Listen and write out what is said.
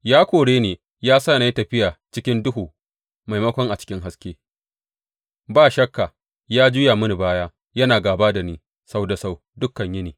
Ya kore ni, ya sa na yi tafiya a cikin duhu maimakon a cikin haske; ba shakka, ya juya mini baya, yana gāba da ni sau da sau, dukan yini.